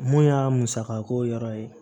Mun y'a musaka ko yɔrɔ ye